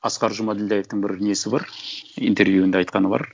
асқар жұмаділдәевтің бір несі бар интервьюында айтқаны бар